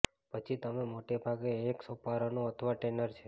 પછી તમે મોટે ભાગે એક સોપરાનો અથવા ટેનર છે